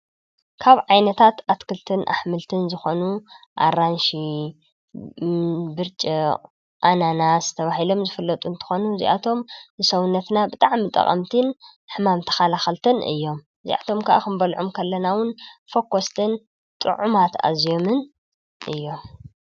ካብ ዓይነታት ኣትክልትን ኣሕምልትን ዝኾኑ ኣራንሺ፣ ብርጭቕ፣ ኣናናስ ተባሂሎም ዝፍለጡ እንትኾኑ እዚኣቶም ንሰውነትና ብጣዕሚ ጠቐምትን ሕማም ተኸላኸልትን እዮም ።እዚኣቶም ከዓ ክንበለዖም ከለና እዉን ፎከስትን ጥዑማት ኣዝዮምን እዮም።